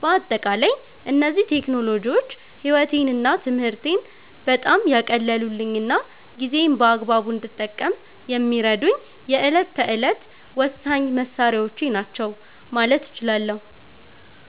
በአጠቃላይ እነዚህ ቴክኖሎጂዎች ሕይወቴንና ትምህርቴን በጣም ያቀለሉልኝና ጊዜዬን በአግባቡ እንድጠቀም የሚረዱኝ የዕለት ተዕለት ወሳኝ መሣሪያዎቼ ናቸው ማለት እችላለሁ።